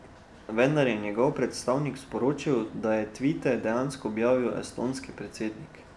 Vendar je njegov predstavnik sporočil, da je tvite dejansko objavil estonski predsednik.